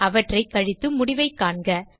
அவற்றை கழித்து முடிவைக் காண்க